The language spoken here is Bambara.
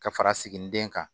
Ka fara sigininden kan